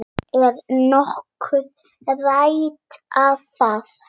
Er nokkuð rætt um það?